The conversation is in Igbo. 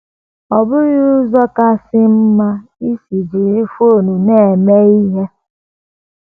Ọ bụghị um ụzọ um kasị mma isi um jiri fon na - eme ihe. ”